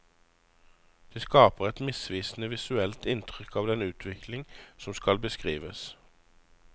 Det skaper et misvisende visuelt inntrykk av den utvikling som skal beskrives.